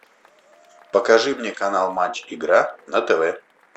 покажи мне канал матч игра на тв